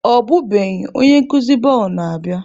Ọbụbeghị, onye nkuzi bọọlụ na-abịa.